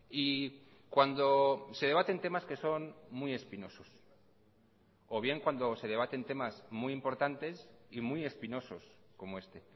y cuando se debaten temas que son muy espinosos o bien cuando se debaten temas muy importantes y muy espinosos como este